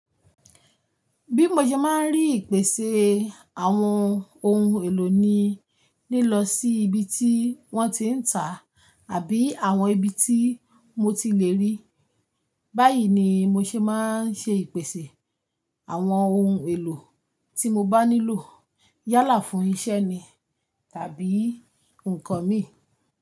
Bí mo ṣe máa ń rí ìpèsè àwọn ohun èlò ni lílọ sí ibi tí wọ́n ti ń tà àbí àwọn ibi tí mo ti le rí. Báyìí ni mo ṣe máa ń ṣe ìpèsè àwọn ohun èlò tí mo bá nílò yálà fún iṣẹ́ ni tàbí nǹkan mi.